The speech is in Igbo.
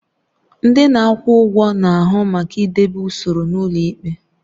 Ndị na-akwụ ụgwọ na-ahụ maka idebe usoro n'ụlọ ikpe.